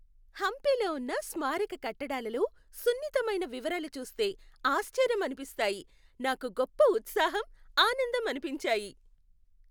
హంపీలో ఉన్న స్మారక కట్టడాలలో సున్నితమైన వివరాలు చూస్తే ఆశ్చర్యం అనిపిస్తాయి, నాకు గొప్ప ఉత్సాహం, ఆనందం అనిపించాయి.